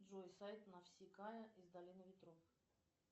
джой сайт нафсикая из долины ветров